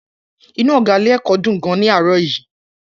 Inú ọ̀gá ilé-ẹ̀kọ́ dùn gan-an ní àárọ̀ yìí.